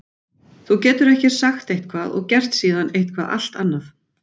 Þú getur ekki sagt eitthvað og gert síðan eitthvað annað.